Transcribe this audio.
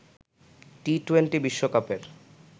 টি twenty বিশ্বকাপের